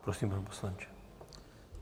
Prosím, pane poslanče.